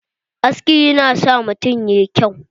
Aski yana sa mutum yayi kyau.